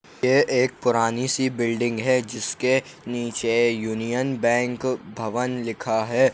ये एक पुरानी सी बिल्डिंग है जिसके नीचे यूनियन बैंक भवन लिखा है।